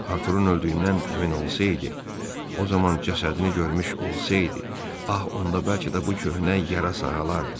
Arturun öldüyündən əmin olsaydı, o zaman cəsədini görmüş olsaydı, ah onda bəlkə də bu köhnə yara sağalardı.